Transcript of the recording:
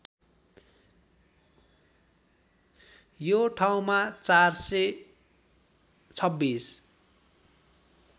यो ठाउँमा ४२६